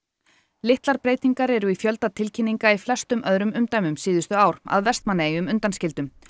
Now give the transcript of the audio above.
litlar breytingar eru í fjölda tilkynninga í flestum öðrum umdæmum síðustu ár að Vestmannaeyjum undanskildum